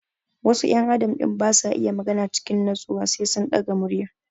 Wasu ƴan adam din basa iya magana cikin natsuwa sai sun ɗaga murya